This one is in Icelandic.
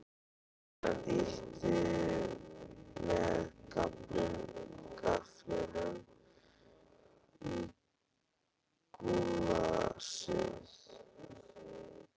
Hann ýtti með gafflinum í gúllasið.